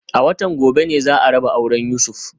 A watan gobe ne za a raba auren Yusuf